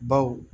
Baw